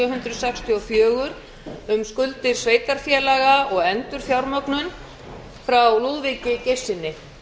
hundruð sextíu og fjögur um skuldir sveitarfélaga og endurfjármögnun frá lúðvíki geirssyni